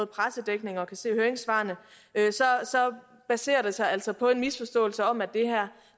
pressedækningen og kan se af høringssvarene baserer det sig altså på en misforståelse om at